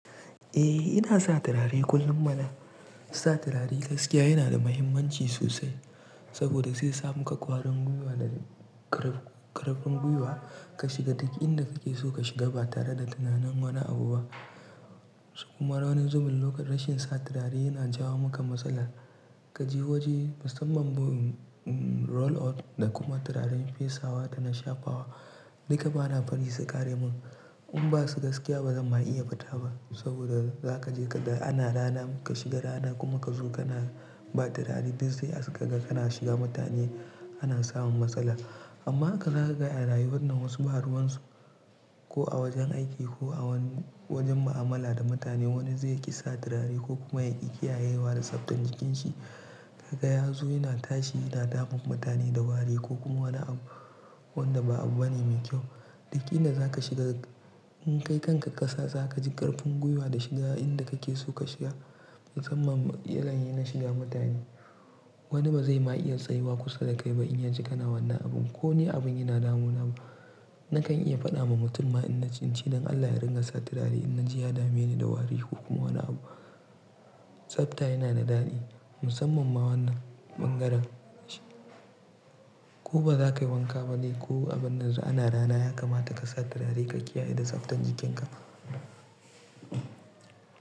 Eh ina sa turare kullum mana. Sa turare gaskiya yana da muhimmanci sosai saboda sai samu ka kwarin gwiwa da ƙarfin gwiwa ka shiga duk inda kake so ka shiga ba tare da tunanin wani abu ba. Kuma raunin zubin lokacin rashin sa turare yana jawo maka matsala. Ka jihoji musamman bu roll out da kuma turaren fesawa da na shafawa duka bana bari su ƙare min. In ba su gaskiya bazan ma iya faɗa ba saboda za ka je kaɗai ana rana ka shiga rana kuma ka zo kana ba turare duk sai ka shiga mutane ana samun matsala. Amma ka ga arayuwannan wasu bahruwansu ko a wajen aiki ko a wani wajen mu'amala da mutane wani zai ƙi sa turare ko kuma ya ƙi kiyayewa da tsaftan jikin shi. Ka ga yazo yana tashi yana damun mutane da wari ko kuma wani abu wanda ba abu bane mai kyau. Duk inda za ka shiga in kai kanka ƙasa za ka ji ƙarfin gwiwa da shiga inda kake so ka shiga musamman idan yanayi shiga mutane. Wani ba zai ma iya tsayuwa kusa da kai ba in ya ji kana wannan abun. Ko ne abin yana damuna nakan iya faɗa ma mutum in na ci cikin Allah ya ringa sa turare in na ji ya dame ni da wari ko kuma wani abu. Tsafta yana da daɗi musamman ma wannan ɓangaren shi. Ko ba za ka yi wanka ba dai ko abun nan su ana rana ya kamata ka sa turare ka kiyaye da tsaftan jikinka.